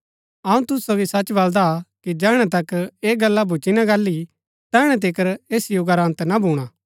अऊँ तूसु सोगी सच बलदा कि जैहणै तक ऐह गल्ला भूच्ची ना गाहली तैहणै तिकर ऐस युगा रा अन्त ना भूणा